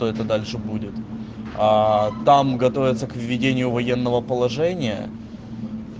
дальше будет а там готовиться к введению военного положения